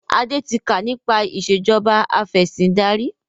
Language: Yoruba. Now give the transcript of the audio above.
Adé tí kà nípa ìsèjọba afẹ̀sindarí